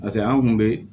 pase an kun be